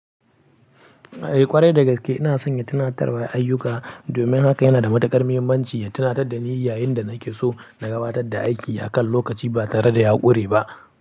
Eh ƙwarai da gaske ina son ya tunatar da ayyuka. Domin haka yana da matuƙar muhimmanci ya tunatar da ni yayin da nake so na gabatar da aiki a kan lokaci ba tare da ya ƙure ba.